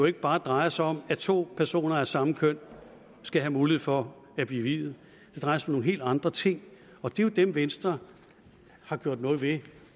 ikke bare drejer sig om at to personer af samme køn skal have mulighed for at blive viet det drejer sig om nogle helt andre ting og det er jo dem som venstre har gjort noget ved